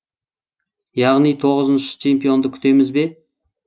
яғни тоғызыншы чемпионды күтеміз бе